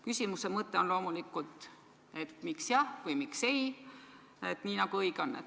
Küsimuse mõte on loomulikult, et miks jah või miks ei, nii nagu õige on.